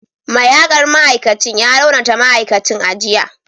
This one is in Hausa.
Mai hakar ma’aikacin ya raunata ma’aikacin a jiya